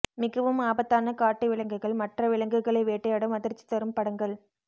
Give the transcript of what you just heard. மிகவும் ஆபத்தான காட்டு விலங்குகள் மற்ற விலங்குகளை வேட்டையாடும் அதிர்ச்சி தரும் படங்கள்